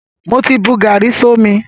Mo ti bu gàárì sómi.